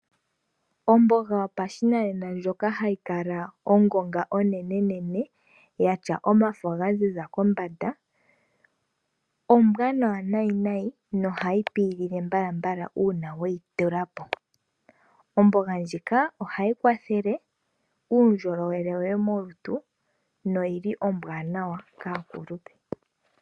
Omboga yopashinanena ndjoka hayi kala ongonga onene yatya omafo ga ziza kombanda ombwanawa nayi nohayi pi mbala uuna weyi tulapo. Omboga ndjika ohayi kwathele uundjolowele woye molutu noyile ombwanawa kaakulupe.